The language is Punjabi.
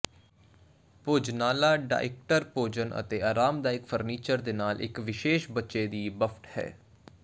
ਭੋਜਨਾਲਾ ਡਾਇਿਟਕ ਭੋਜਨ ਅਤੇ ਆਰਾਮਦਾਇਕ ਫਰਨੀਚਰ ਦੇ ਨਾਲ ਇੱਕ ਵਿਸ਼ੇਸ਼ ਬੱਚੇ ਦੀ ਬੱਫਟ ਹੈ